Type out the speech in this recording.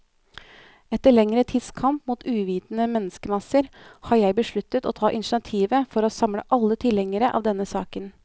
Etter lengre tids kamp mot uvitende menneskemasser, har jeg besluttet å ta initiativet for å samle alle tilhengere av denne saken.